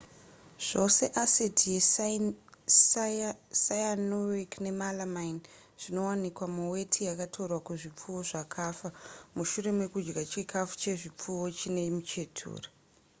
zvose asidhi yecyanuric nemalamine zvakawanikwa muweti yakatorwa kuzvipfuwo zvakafa mushure mekudya chikafu chezvipfuwo chine muchetura